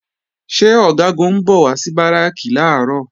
Ṣé Ọ̀gágun ń bọ̀ wá sí Báràkì làárọ̀?